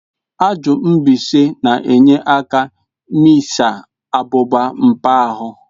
Ajụ mbaise na enye aka mịsịa abụba npa ahu.